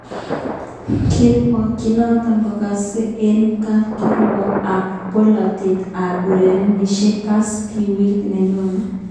kirwoget noto kokokase eng kapkirwok ab boloter ab urerenosiek CAS wikit nenyone.